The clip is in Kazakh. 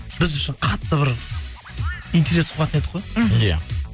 біз үшін қатты бір интерес қуатын едік қой мхм иә